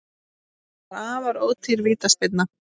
Þetta var afar ódýr vítaspyrna